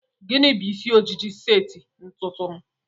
Gịnị bụ isi ojiji seti ntụnụ?